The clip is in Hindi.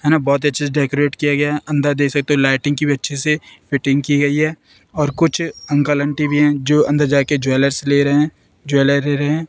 है ना बहुत अच्छे से डेकोरेट किया गया है अंदर देख सकते हो लाइटिंग की भी अच्छे से फिटिंग की गई है और कुछ अंकल आंटी भी हैं जो अंदर जा के ज्वैलर्स ले रहे हैं ज्वेलर ले रहे हैं।